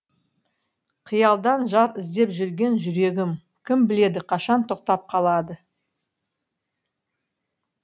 қиялдан жар іздеп жүрген жүрегім кім біледі қашан тоқтап қалады